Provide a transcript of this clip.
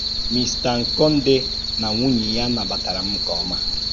Místa Nkonde na nwúnye ya nabàtàrà m nke ọma.